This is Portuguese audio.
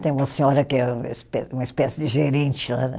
Tem uma senhora que é uma espe, uma espécie de gerente lá, né?